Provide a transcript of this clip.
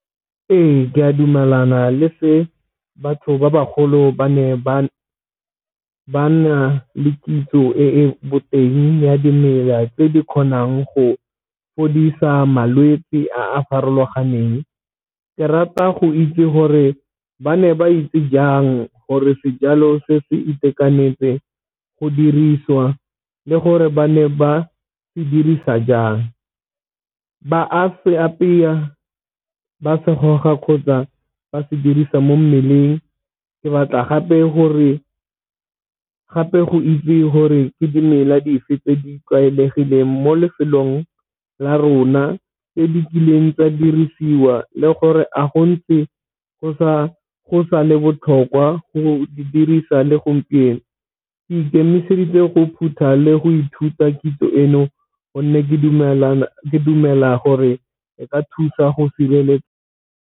Ee, ke a dumelana le se batho ba bagolo ba ne ba ba na le kitso e e boteng ya dimela tse di kgonang go fodisa malwetse a a farologaneng. Ke rata go itse gore ba ne ba itse jang gore sejalo se se itekanetse go dirisiwa le gore ba ne ba se dirisa jang, ba a se apeya, ba se goga kgotsa ba se dirisa mo mmeleng. Ke batla gape gore gape go itse gore ke dimela dife tse di tlwaelegileng mo lefelong la rona tse di kileng di dirisiwa le gore a gontse go sa le botlhokwa le go di dirisa le gompieno, ke ikemiseditse go phutha le go ithuta kitso eno gonne ke dumela gore e ka thusa go sireletsa.